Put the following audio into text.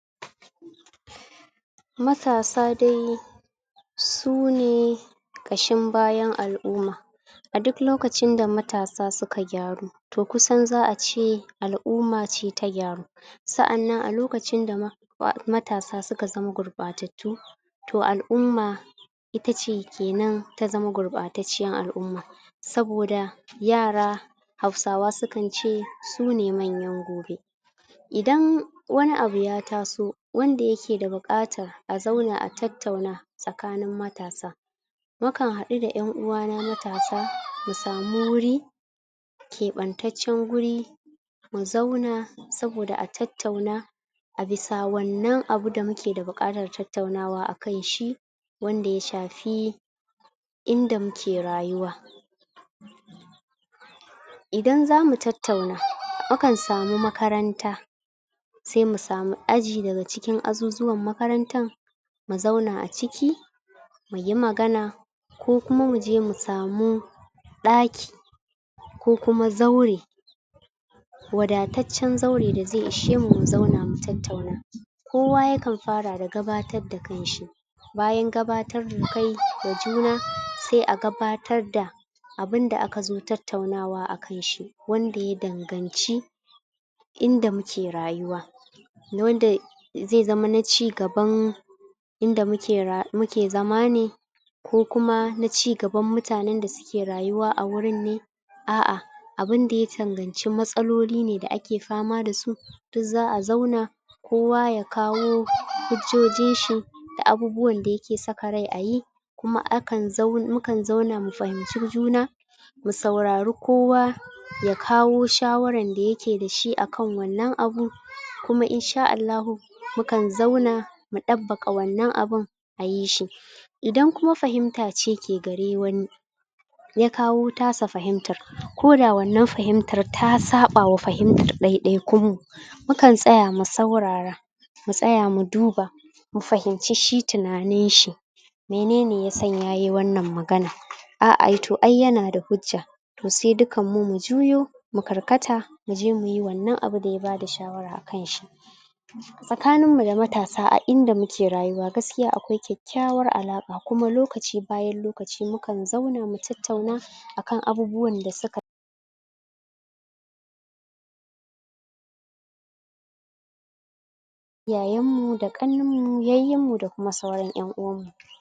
matasa dai sune ƙashin bayan al'umma. a duk lokacin da matasa suka gyaru to kusan za'ace al'umma ce ta gyaru sa'annan a lokacin da matasa suka zama gurɓatattu to al'umma itace kenan ta zama gurɓatacciyar al'umma saboda yara hausawa sukance sune manyan gobe idan wani abu ya taso wanda yake da buƙatar a zauna a tattauna tsakanin matasa nakan haɗu da ƴan uwana matasa mu samu wuri keɓantaccen wuri mu zauna saboda a tattauna a bisa wannan abu da muke da buƙatar tattaunawa akan shi wanda ya shafi inda muke rayuwa idan zamu tattauna mukan samu makaranta semu samu aji daga cikin azuzuwan makarantan mu zauna a ciki muyi magana ko kuma muje mu samu ɗaki ko kuma zaure wadataccen zaure da zai ishemu mu zauna mu tattauna kowa yakan fara da gabatar da kanshi bayan gabatar da kai ga juna sai a gabatar da abunda akazo tattaunawa a kanshi wanda ya danganci inda muke rayuwa. wanda zai zama na ci gaban inda muke zama ne ko kuma na ci gaban mutanen da suke rayuwa a wurin ne a'a abunda ya danganci matsaloli ne da ake fama dasu duk za'a zauna kowa ya kawo hujjojin shi da abubuwan da yake saka rai ayi kuma akan zau mukan zauna mu fahimci juna mu saurari kowa ya kawo shawaran da yake dashi akan wannan abu kima in sha Allahu mukan zauna mu ɗabbaka wannan abun ayi shi. idan kuma fahimta ce ke gare wani ya kawo tasa fahimtar koda wannan fahimtar ta saɓawa fahimtar ɗaiɗaikun mu mukan tsaya mu saurara mu tsaya mu duba mu fahimci shi tunaninshi menene ya sanya yayi wannan magana a'a to ai yana da hujja to sai dukanmu mu juyo mu karkata muje muyi wannan abu da ya bada shawara akan shi. tsakanin mu da matasa a inda muke rayuwa gaskiya akwai kyakkyawar alaƙa kuma lokaci bayan lokaci mukan zauna mu tattauna akan abubuwan da suka yayan mu da ƙannane mu yayyin mu da kuma sauran ƴan uwan mu.